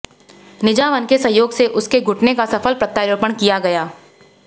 निझावन के सहयोग से उसके घुटने का सफल प्रत्यारोपण किया गया